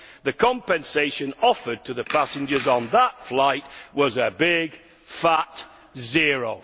the compensation offered to the passengers on that flight was a big, fat zero.